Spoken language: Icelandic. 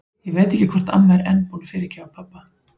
Ég veit ekki hvort amma er enn búin að fyrirgefa pabba.